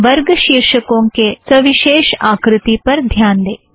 वर्ग शीर्षकों के सविशेष आकृति पर ध्यान दें